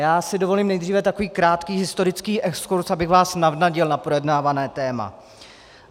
Já si dovolím nejdříve takový krátký historický exkurz, abych vás navnadil na projednávané téma.